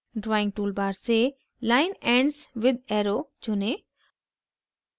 drawing tool bar से line ends with arrow चुनें